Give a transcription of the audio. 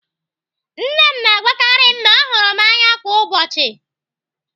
Nne m na-agwakarị m na ọ hụrụ m n'anya kwa ụbọchị.